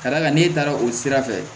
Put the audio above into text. Ka d'a kan n'e taara o sira fɛ